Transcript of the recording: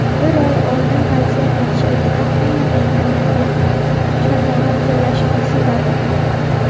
Bir oy oldin vaziyat yaxshiligida hamma mendan yangi shartnoma imzolashimni so‘radi.